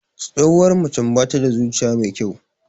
Tsohuwar macen bata da zuciya mai kyau.